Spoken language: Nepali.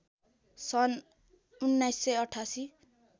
सन् १९८८